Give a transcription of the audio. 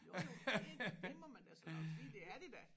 Jo jo det det må man da så nok sige det er vi da